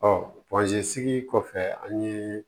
sigi kɔfɛ an ye